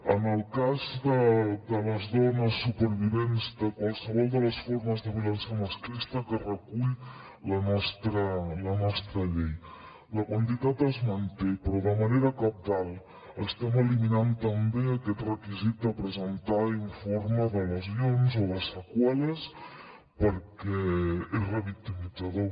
en el cas de les dones supervivents de qualsevol de les formes de violència masclista que recull la nostra llei la quantitat es manté però de manera cabdal estem eliminant també aquest requisit de presentar informe de lesions o de seqüeles perquè és revictimitzador